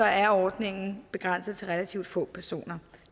er ordningen begrænset til relativt få personer